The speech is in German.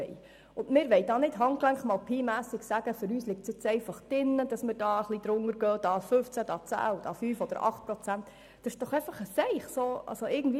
Wir möchten nicht mit Handgelenk mal Pi ein wenig darunter gehen, indem wir um 15, 10, 5 oder 8 Prozent anpassen.